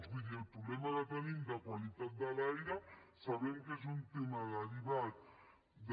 vull dir el problema que tenim de qualitat de l’aire sabem que és un tema derivat de